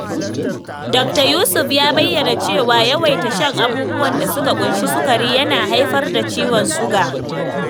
Dokta Yusuf ya bayyana cewa yawaita shan abubuwan da suka ƙunshi sukari yana haifar da ciwon suga.